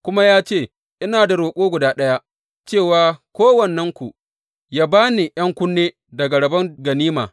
Kuma ya ce, Ina da roƙo guda ɗaya, cewa kowannenku ya ba ni ’yan kunne daga rabon ganima.